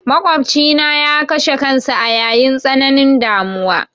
Maƙofcina ya kashe kansa a yayin tsananin damuwa.